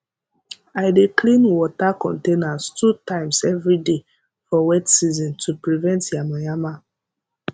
i dey clean water containers two times every day for wet season to prevent yamayama